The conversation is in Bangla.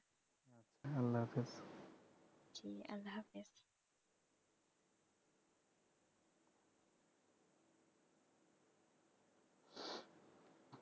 আল্লাহ্‌ হাফেজ।